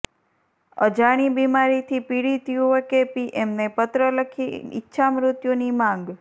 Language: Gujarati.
અજાણી બિમારીથી પીડિત યુવકે પીએમને પત્ર લખી કરી ઈચ્છામૃત્યુની માંગ